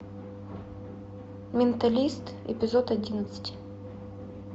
менталист эпизод одиннадцать